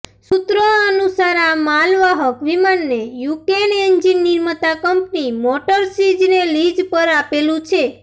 સુત્રો અનુસાર આ માલવાહક વિમાનને યુક્રેન એન્જિન નિર્માતા કંપની મોટર સીચને લીઝ પર આપેલું છે